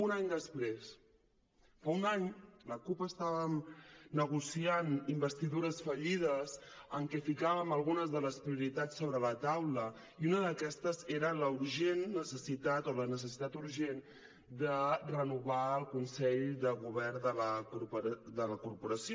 un any després fa un any la cup es·tàvem negociant investidures fallides en què ficàvem algunes de les prioritats sobre la taula i una d’aquestes era la urgent necessitat o la necessitat urgent de renovar el consell de govern de la corporació